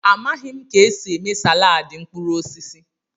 Amaghị m ka esi eme salaadị mkpụrụ osisi.